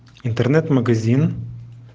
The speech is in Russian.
интернет-магазин